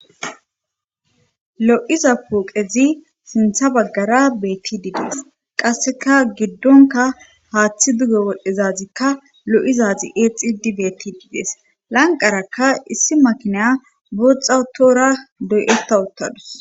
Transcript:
lo'iza pooqezi sinththa baggara beettidii dees qasseka giddonkka haaththi duge wodhdhizazikka lo'izazi exxidi betidii dees lanqerakka issi maakiniya booxa uttoora doyetta ottadus